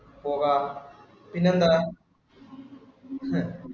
പോകാം പിന്നെന്താ ഹ